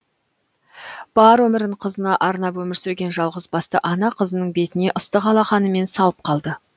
бар өмірін қызына арнап өмір сүрген жалғыз басты ана қызының бетіне ыстық алақанымен салып қалды